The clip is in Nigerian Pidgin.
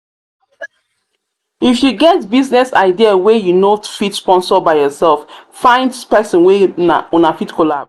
if you get business idea wey you no fit sponsor by yourself find person wey una fit collabo